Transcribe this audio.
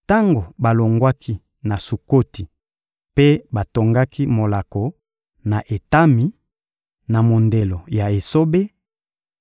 Tango balongwaki na Sukoti mpe batongaki molako na Etami, na mondelo ya esobe,